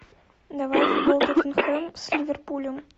давай футбол тоттенхэм с ливерпулем